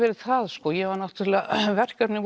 verið það sko ég var náttúrulega með verkefni